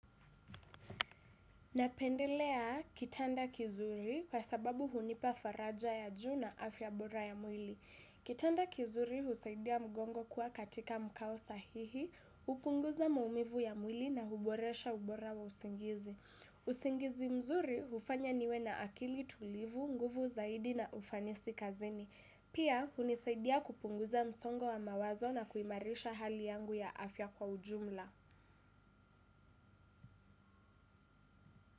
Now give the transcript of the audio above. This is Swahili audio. Napendelea kitanda kizuri kwa sababu hunipa faraja ya juu na afya bora ya mwili. Kitanda kizuri husaidia mgongo kuwa katika mkao sahihi, upunguza maumivu ya mwili na huboresha ubora wa usingizi. Usingizi mzuri ufanya niwe na akili tulivu, nguvu zaidi na ufanisi kazini. Pia hunisaidia kupunguza msongo wa mawazo na kuimarisha hali yangu ya afya kwa ujumla.